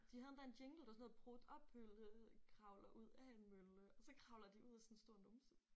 De havde endda en jingle det var sådan noget prut og pølle kravler ud af en mølle og så kravler de ud af sådan en stor numse